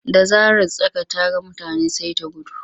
Da zarar tsaka ta ga mutane sai ta gudu.